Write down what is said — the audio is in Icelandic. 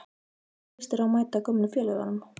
Hvernig lýst þér á að mæta gömlu félögunum?